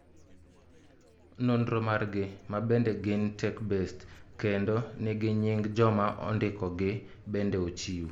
Nonro margi , mabende gin tech-based , kendo nigi nying joma ondikogi bende ochiw